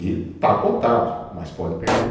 E está cotado, mas pode perder.